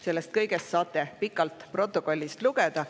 Sellest kõigest saate pikalt protokollist lugeda.